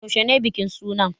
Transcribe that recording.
Yaushe ne bikin suna?